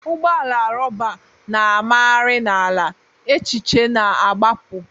Ụgbọ ala rọba na-amagharị n'ala, echiche na-agbapụ.